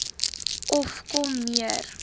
of kom meer